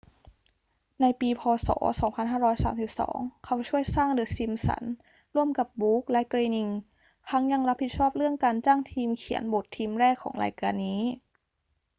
ในปี พ. ศ. 2532 เขาช่วยสร้างเดอะซิมป์สันส์ร่วมกับบรูคส์และเกรนิง ทั้งยังรับผิดชอบเรื่องการจ้างทีมเขียนบททีมแรกของรายการนี้